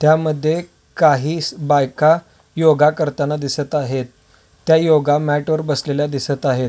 त्यामध्ये काहीस बायका योगा करताना दिसत आहेत त्या योगा म्याट वर बसलेल्या दिसत आहेत.